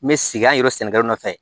Me sigi yan yɛrɛ sen sɛnɛkɛlaw nɔfɛ